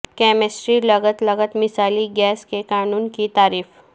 chemistry لغت لغت مثالی گیس کے قانون کی تعریف